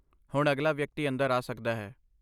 ਹੁਣ ਅਗਲਾ ਵਿਅਕਤੀ ਅੰਦਰ ਆ ਸਕਦਾ ਹੈ!